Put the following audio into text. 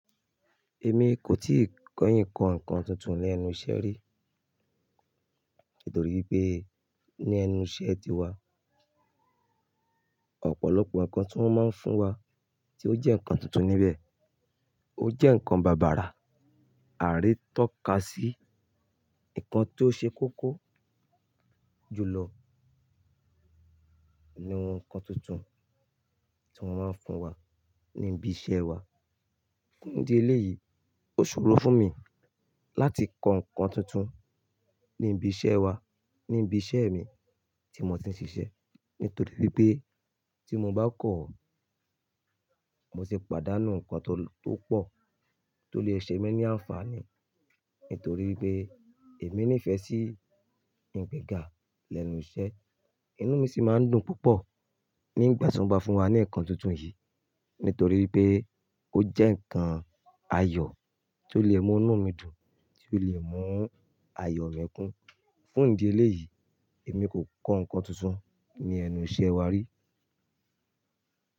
Èmi kò tíì kọ̀ yín kọ ǹkan tuntun ní ẹnu iṣẹ́ rí. Nítorí pé ní ẹnu iṣẹ́ ti wa, ọ̀pọ̀lọpọ̀ ǹkan tí wọ́n máa ń fún wa tí ó jẹ́ ǹkan tuntun níbẹ̀, ó jẹ́ ǹkan bàbàrà, àrí tọ́ka sí ǹkan tí ó ṣe kókó jùlọ. Kí ni ohun ǹkan tuntun tí wọ́n máa ń fún wa níbi iṣẹ́ wa? Fún ìdí eléyìí, ó ṣòro fún mi láti kọ ǹkan tuntun níbi iṣẹ́ wa, níbi iṣẹ́ mi tí mo ti ń ṣiṣẹ́. Nítorí pé tí mo bá kọ̀ ọ́, mo ti pàdánù ǹkan tó pọ̀ tó lè ṣe mi ní àǹfààní. Nítorí pé èmi nífẹ̀ẹ́ sí ìgbéga lẹ́nu iṣẹ́. Inú mi sì máa ń dùn púpọ̀ nígbà tí wọ́n bá fún wa ní ǹkan tuntun yìí. Nítorí pé ó jẹ́ ǹkan ayọ̀ tó lè mú inú mi dùn, tí ó lè mú ayọ̀ mi kún. Fún ìdí eléyìí, èmi kò kọ ǹkan tuntun ní ẹnu iṣẹ́ wa rí.